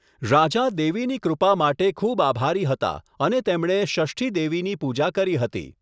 રાજા દેવીની કૃપા માટે ખૂબ આભારી હતા અને તેમણે ષષ્ઠી દેવીની પૂજા કરી હતી.